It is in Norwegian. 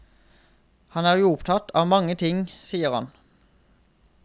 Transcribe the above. Han er jo opptatt av mange ting, sier han.